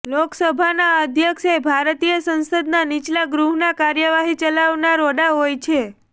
લોકસભાના અધ્યક્ષ એ ભારતીય સંસદના નીચલા ગૃહના કાર્યવાહી ચલાવનાર વડા હોય છે